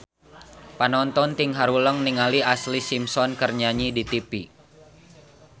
Panonton ting haruleng ningali Ashlee Simpson keur nyanyi di tipi